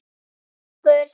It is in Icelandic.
Takk fyrir okkur.